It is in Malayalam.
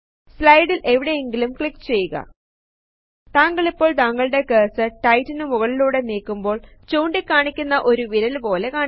സ്ലയ്ടിൽ എവിടെയെങ്കിലും ക്ലിക്ക് ചെയ്യുക താങ്കളിപ്പോൾ താങ്കളുടെ കെർസെർ റ്റെക്സ്റ്റിനു മുകളിലൂടെ നീക്കുമ്പോൾ ചൂണ്ടി കാണിക്കുന്ന ഒരു വിരല് പോലെ കാണിക്കുന്നു